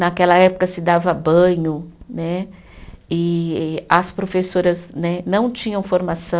Naquela época se dava banho né, e as professoras né não tinham formação.